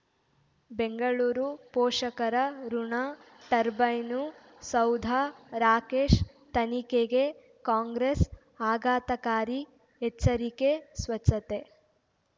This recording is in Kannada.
ಬೆಂಗಳೂರು ಪೋಷಕರಋಣ ಟರ್ಬೈನು ಸೌಧ ರಾಕೇಶ್ ತನಿಖೆಗೆ ಕಾಂಗ್ರೆಸ್ ಆಘಾತಕಾರಿ ಎಚ್ಚರಿಕೆ ಸ್ವಚ್ಛತೆ